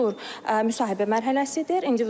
İkinci tur müsahibə mərhələsidir.